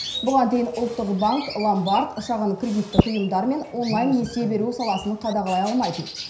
бұған дейін ұлттық банк ломбард шағын кредиттік ұйымдар мен онлайн несие беру саласын қадағалай алмайтын